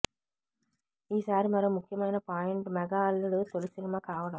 ఈసారి మరో ముఖ్యమైన పాయింట్ మెగా అల్లుడు తొలి సినిమా కావడం